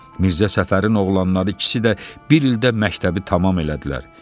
Mirzə Səfərin oğlanları ikisi də bir ildə məktəbi tamam elədilər.